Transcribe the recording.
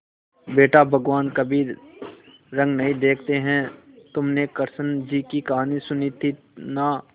बेटा भगवान कभी रंग नहीं देखते हैं तुमने कृष्ण जी की कहानी सुनी थी ना